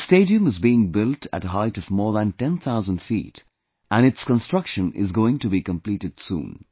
This stadium is being built at a height of more than 10,000 feet and its construction is going to be completed soon